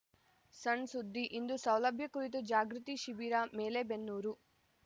ಸಣ್‌ ಸುದ್ದಿ ಇಂದು ಸೌಲಭ್ಯ ಕುರಿತು ಜಾಗೃತಿ ಶಿಬಿರ ಮಲೇಬೆನ್ನೂರು